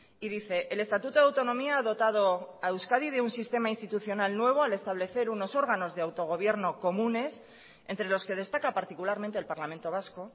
y dice el estatuto de autonomía ha dotado a euskadi de un sistema institucional nuevo al establecer unos órganos de autogobierno comunes entre los que destaca particularmente el parlamento vasco